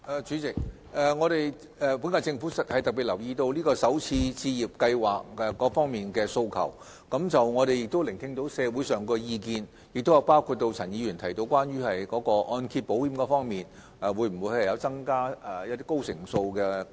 主席，本屆政府特別留意有關首次置業先導計劃各方面的訴求，我們亦聆聽了社會上的意見，包括陳議員提到會否增加按保計劃的按揭成數。